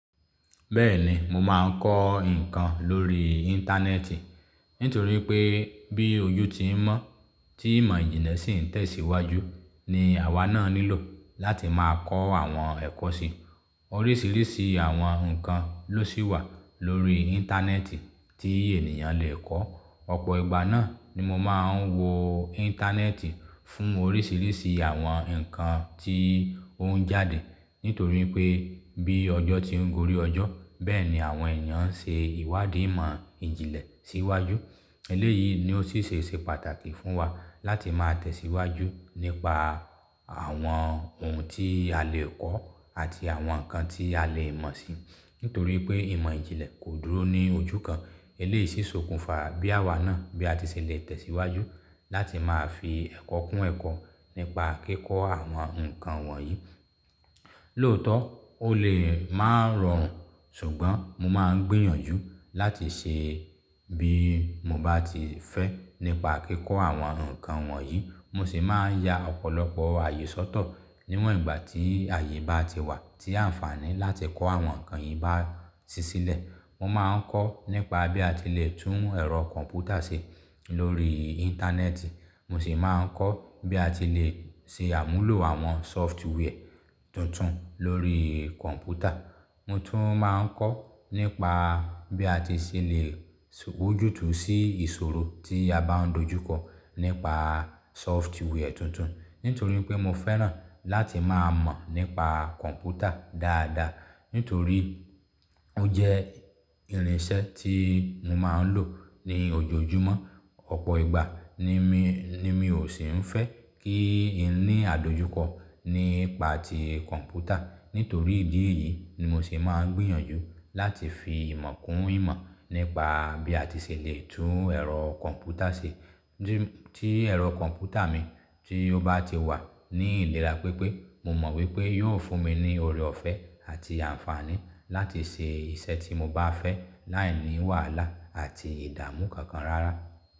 Bẹ́ẹ̀ni, mo máa ń kọ́ nǹkan lórí Íńtánẹ́ẹ̀tì nítorí pé bí oju ti ń mọ́ tí ìmọ̀ ìjìnlẹ̀ sì ń tẹ̀síwájú ni àwa náà nílò láti máa kọ́ àwọn ẹ̀kọ́ sí. Oríṣiríṣi àwọn nǹkan ló sì wà lórí Íńtánẹ́ẹ̀tì tí ènìyàn lee kọ́. Ọ̀pọ̀ ìgbà náà ni mo máa ń wo Íńtánẹ́ẹ̀tì fún oríṣiríṣi àwọn nǹkan tí ó ń jáde. Nítorí pé bí ọjọ́ ti ń gorí ọjọ́ bẹ́ẹ̀ ni àwọn ènìyàn ń ṣe ìwádìí ìmọ̀ ìjìnlẹ̀ síwájú. Eléyìí ni ó sì ṣe ṣe pàtàkì fún wa láti máa tẹ̀síwájú nípa àwọn ohun tí a lè kọ́ àti àwọn nǹkan tí a lè mọ̀ sí. Nítorí pé ìmọ̀ ìjìnlẹ̀ kò dúró ní ojú kan. Eléyìí sì sokùn fa bí àwa náà bí a ti ṣèlé tẹ̀síwájú láti máa fi ẹ̀kọ́ kún ẹ̀kọ́ nípa kíkọ́ àwọn nǹkan wọ̀nyí. Lóòótọ́, ó lè máa rọrùn ṣùgbọ́n mo máa ń gbìyànjú láti ṣe bí mo bá ti fẹ́ nípa kíkọ́ àwọn nǹkan wọ̀nyí. Mo sì máa ń ya ọ̀pọ̀lọpọ̀ àyè sọ́tọ̀ níwọ̀n ìgbà tí àyè bá ti wà tí àǹfààní láti kọ́ àwọn nǹkan yìí bá si sílẹ̀. Mo máa ń kọ́ nípa bí a ti lè tún ẹ̀rọ kọ̀m̀pútà ṣe lórí Íńtánẹ́ẹ̀tì. Mo sì máa ń kọ́ bí a ti lè ṣe àmúlò àwọn sófwarẹ́ tuntun lórí kọ̀m̀pútà. Mo tún máa ń kọ́ nípa bí a ti ṣèlée wa ojútùú sí ìṣòro tí a bá ń dojúkọ nípa sóftware tuntun. Nítorí pé mo fẹ́ràn láti máa mọ̀ nípa kọ̀m̀pútà dáadáa. Nítorí ó jẹ́ irinṣẹ́ tí mo máa ń lò ní ojoojúmọ́. Ọ̀pọ̀ ìgbà ni mi, ni mi ò sì ń fẹ́ kí n ní àdojúkọ nípa ti kọ̀m̀pútà. Nítorí ìdí èyí ni mo se máa ń gbìyànjú láti fi ìmọ̀ kún ìmọ̀ nípa bí a ti ṣèlée tún ẹ̀rọ kọ̀m̀pútà ṣe. Tí, tí ẹ̀rọ kọ̀m̀pútà mi tí ó bá ti wà ní ìlera pípé, mo mọ̀ wípé yóò fún mi ní ọrẹ ọ̀fẹ́ àti àǹfààní láti ṣe iṣẹ́ tí mo bá fẹ́ láìní wàhálà àti ìdààmú kankan rárá.